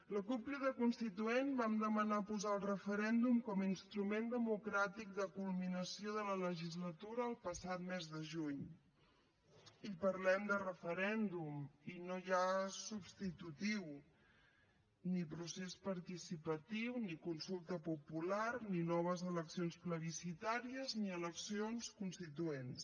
la cup crida constituent vam demanar posar el referèndum com a instrument democràtic de culminació de la legislatura el passat mes de juny i parlem de referèndum i no hi ha substitutiu ni procés participatiu ni consulta popular ni noves eleccions plebiscitàries ni eleccions constituents